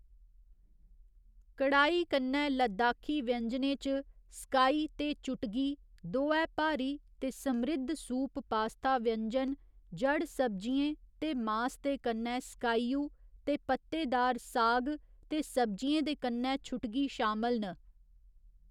कड़ाई कन्नै लद्दाखी व्यंजनें च स्काई ते चुटगी, दोऐ भारी ते समृद्ध सूप पास्ता व्यंजन, जड़ सब्जियें ते मास दे कन्नै स्काईयू, ते पत्तेदार साग ते सब्जियें दे कन्नै छुटगी शामल न।